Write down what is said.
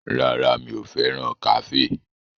Rárá, mi ò fẹ́ràn kàféè